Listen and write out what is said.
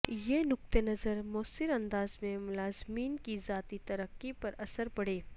یہ نقطہ نظر موثر انداز میں ملازمین کی ذاتی ترقی پر اثر پڑے